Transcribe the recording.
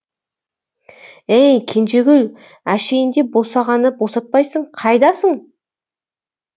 әй кенжегүл әшейінде босағаны босатпайсың қайдасың